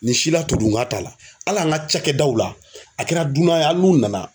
Nin si la todunkan t'a la ali an ka cakɛdaw la a kɛra dunan ye n'u nana